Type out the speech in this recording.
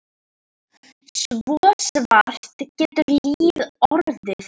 Svo svart getur lífið orðið.